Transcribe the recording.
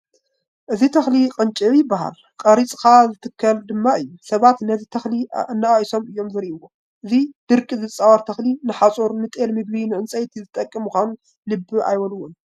እዚ ተኽሊ ቅንጭብ ይበሃል፡፡ ቆሪፅካ ዝትከል ድማ እዩ፡፡ ሰባት ነዚ ተኽሊ ኣነኣኢሶም እዮም ዝርእይዎ፡፡ እዚ ድርቂ ዝፃወር ተኽሊ ንሓፁር፣ ንጤል ምግቢ፣ ንዕንጨይቲ ዝጠቅም ምዃኑ ልቢ ኣይብልዎን፡፡